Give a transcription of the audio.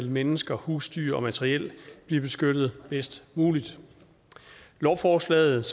mennesker husdyr og materiel bliver beskyttet bedst muligt lovforslaget